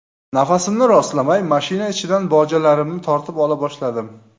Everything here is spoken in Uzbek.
Nafasimni rostlamay, mashina ichidan bojalarimni tortib ola boshladim.